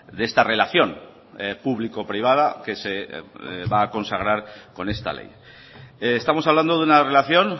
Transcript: de esta relación público privada que se va a consagrar con esta ley estamos hablando de una relación